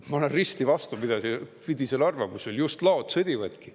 Ma olen risti vastupidisel arvamusel: just laod sõdivadki.